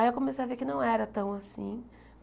Aí eu comecei a ver que não era tão assim.